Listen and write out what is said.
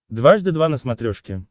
дважды два на смотрешке